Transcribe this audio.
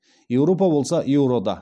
еуропа болса еурода